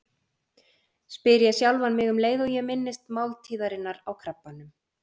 spyr ég sjálfan mig um leið og ég minnist máltíðarinnar á Krabbanum.